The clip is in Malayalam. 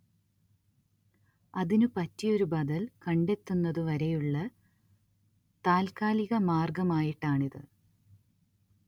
അതിനു പറ്റിയൊരു ബദൽ കണ്ടെത്തുന്നതു വരെയുള്ള താത്കാലിക മാർഗ്ഗമായിട്ടാണിത്